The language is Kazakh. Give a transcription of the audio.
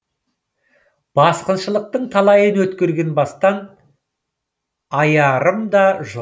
басқыншылықтың талайын өткерген бастан аярым да жоқ